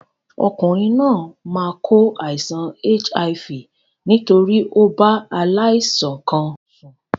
Okùnrin náà máa kó àìsan HIV nítorí o bá aláìsàn kan sùn